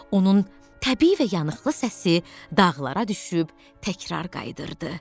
Onun təbii və yanıqlı səsi dağlara düşüb təkrar qayıdırdı.